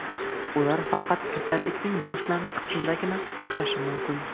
Ular faqat kasallikning boshlang‘ich qismidagina o‘xshashi mumkin.